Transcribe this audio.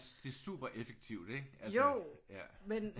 Det er super effektivt ikke altså